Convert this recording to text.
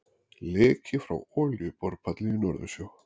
Leki frá olíuborpalli í Norðursjó.